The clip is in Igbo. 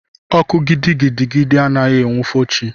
Ọkụ gidigidi adịghị enwufo chi.